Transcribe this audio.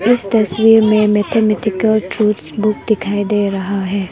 इस तस्वीर में मैथमेटिकल ट्रूथ्स बुक दिखाई दे रहा है।